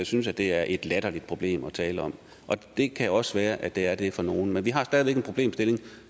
synes det er et latterligt problem at tale om og det kan også være at det er det for nogle men vi har stadig væk en problemstilling